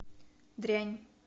дрянь